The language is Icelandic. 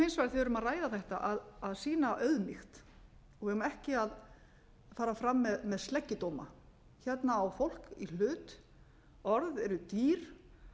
erum að ræða þetta að sýna auðmýkt við eigum ekki að fara fram með sleggjudóma hérna á fólk í hlut orð er dýr